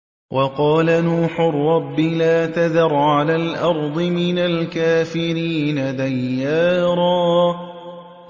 وَقَالَ نُوحٌ رَّبِّ لَا تَذَرْ عَلَى الْأَرْضِ مِنَ الْكَافِرِينَ دَيَّارًا